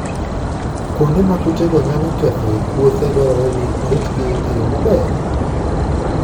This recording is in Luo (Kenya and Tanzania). Kuonde ma kutego nyalo kethoe puothe dwarore ni oritgi e yo maber.